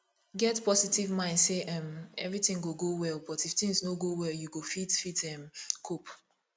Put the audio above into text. get positive mind sey um everything go go well but if thing no go well you go fit fit um cope